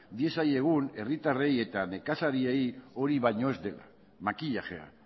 diezaiogun herritarrei eta nekazariei hori baino ez dela makillajea